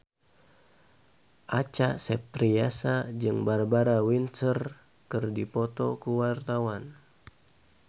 Acha Septriasa jeung Barbara Windsor keur dipoto ku wartawan